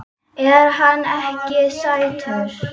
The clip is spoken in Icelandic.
Er hann ekki sætur?